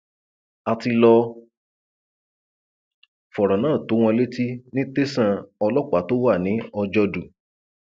a ti lọọ fọrọ náà tó wọn létí ní tẹsán ọlọpàá tó wà ní ọjọdù